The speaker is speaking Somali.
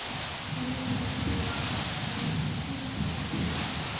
Shinnidu waxay u baahan tahay iftiin ku filan.